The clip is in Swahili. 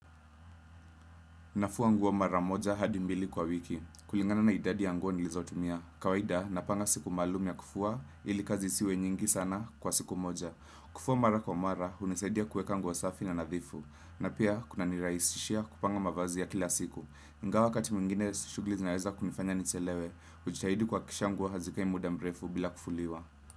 Nafua nguo mara moja hadi mbili kwa wiki. Kulingana na idadi ya nguo nilizotumia. Kawaida, napanga siku maalum ya kufua ili kazi isiwe nyingi sana kwa siku moja. Kufua mara kwa mara, hunisaidia kueka nguo safi na nadhifu. Na pia, kuna nirahisishia kupanga mavazi ya kila siku. Inga wakati mwingine, shugli zinaweza kunifanya nichelewe. Hujitahidi kuhakikisha nguo hazikai muda mrefu bila kufuliwa.